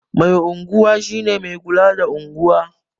Mai unguwa shi ne mai kula da unguwa